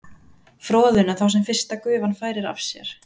froðuna þá sem fyrsta gufan færir af sér